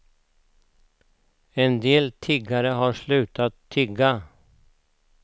En del tiggare har slutat tigga.